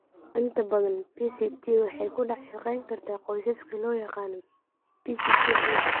Inta badan, PCT waxay ku dhex shaqayn kartaa qoysaska (loo yaqaan PCT qoyska).